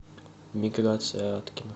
миграция аткина